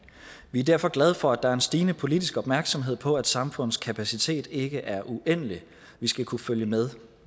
vi er derfor glade for at der er en stigende politisk opmærksomhed på at samfundets kapacitet ikke er uendelig vi skal kunne følge med